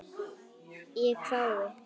Ég hvái.